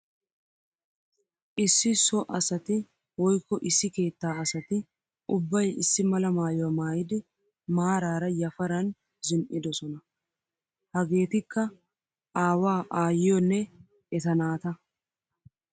Issi so asatti woykko issi keetta asatti ubbay issi mala maayuwa maayiddi maarara yafaran zin'idosonna. Hagettikka aawa aayiyonne etta naata.